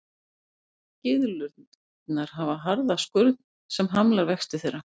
Gyðlurnar hafa harða skurn sem hamlar vexti þeirra.